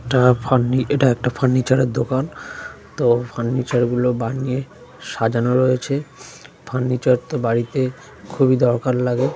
এটা ফার্নি এটা একটা ফার্নিচার -এর দোকান তো ফার্নিচার গুলো বানিয়ে সাজানো রয়েছে ফার্নিচার তো বাড়িতে খুববই দরকার লাগে ।